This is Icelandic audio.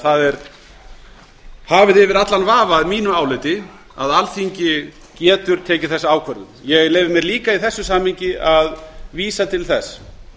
það er hafið yfir allan vafa að mínu áliti að alþingi getur tekið þessa ákvörðun ég leyfi mér líka í þessu samhengi að vísa til þess